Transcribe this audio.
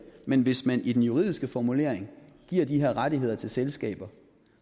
men hvis man i den juridiske formulering giver de her rettigheder til selskaber